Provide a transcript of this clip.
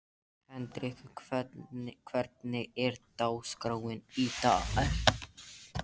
Hendrikka, hvernig er dagskráin í dag?